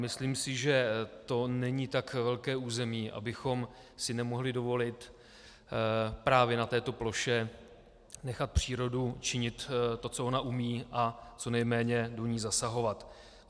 Myslím si, že to není tak velké území, abychom si nemohli dovolit právě na této ploše nechat přírodu činit to, co ona umí, a co nejméně do ní zasahovat.